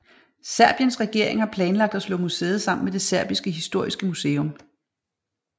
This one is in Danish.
Serbiens regering har planlagt at slå museet sammen med det Serbiske historiske museum